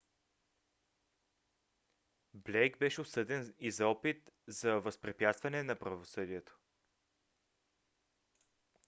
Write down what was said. блейк беше осъден и за опит за възпрепятстване на правосъдието